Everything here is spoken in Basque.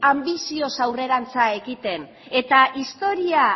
anbizioz aurrerantz egiten eta historia